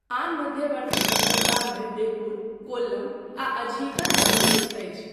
आन मध्यवर्ती बन्दरगाहमे बेपुर, कोल्लम आ अझीकल सम्मिलित अछि।